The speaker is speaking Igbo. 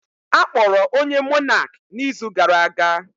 Akpọrọ onye Monak na izu gara aga